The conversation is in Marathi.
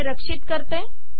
मी हे सेव्ह करते